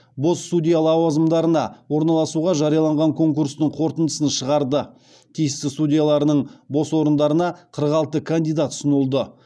бос судья лауазымдарына орналасуға жарияланған конкурстың қорытындысын шығарды тиісті судьяларының бос орындарына қырық алты кандидат ұсынылды